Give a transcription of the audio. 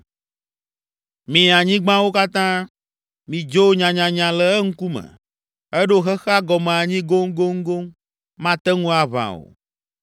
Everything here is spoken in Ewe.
Mi anyigbawo katã, midzo nyanyanya le eŋkume. Eɖo xexea gɔme anyi goŋgoŋgoŋ, mate ŋu aʋã o.